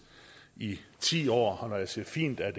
i ti år og når jeg siger fint er